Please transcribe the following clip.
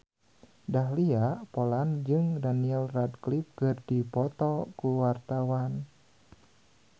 Dahlia Poland jeung Daniel Radcliffe keur dipoto ku wartawan